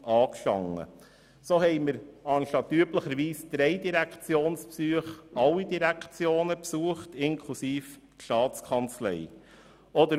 So führten wir anstelle von üblicherweise drei Direktionsbesuchen Besuche bei allen Direktionen und der Staatskanzlei durch.